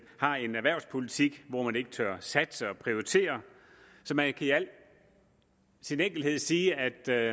har en erhvervspolitik hvor man ikke tør satse og prioritere så man kan i al sin enkelthed sige at der